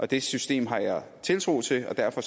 det system har jeg tiltro til og derfor